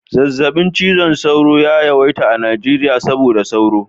Zazzaɓin cizon sauro ya yawaita a Najeriya saboda sauro